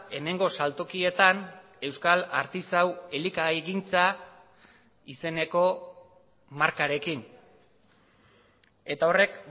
hemengo saltokietan euskal artisau elikagaigintza izeneko markarekin eta horrek